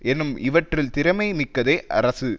என்னும் இவற்றில் திறமை மிக்கதே அரசு